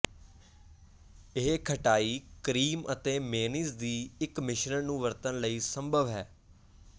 ਇਹ ਖਟਾਈ ਕਰੀਮ ਅਤੇ ਮੇਅਨੀਜ਼ ਦੀ ਇੱਕ ਮਿਸ਼ਰਣ ਨੂੰ ਵਰਤਣ ਲਈ ਸੰਭਵ ਹੈ